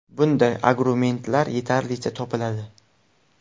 Bunday argumentlar yetarlicha topiladi.